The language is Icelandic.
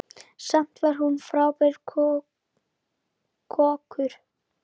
Samt var hún frábær kokkur.